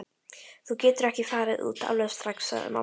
Þú getur ekki farið út alveg strax, sagði mamma.